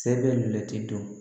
Sɛbɛ ti dɔn